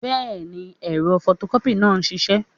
Bẹ́ẹ̀ni, ẹ̀rọ fọtọkọ́pì náà ń ṣiṣẹ́